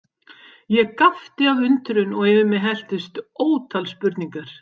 Ég gapti af undrun og yfir mig helltust ótal spurningar.